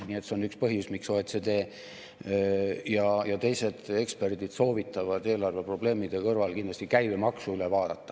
Nii et see on üks põhjus, miks OECD ja teised eksperdid soovitavad eelarveprobleemide kõrval kindlasti käibemaksu üle vaadata.